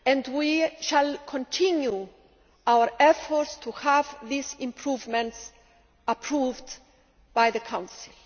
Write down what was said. We shall continue our efforts to have those improvements approved by the Council.